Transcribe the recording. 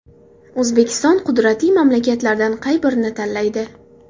O‘zbekiston qudratli mamlakatlardan qaysi birini tanlaydi?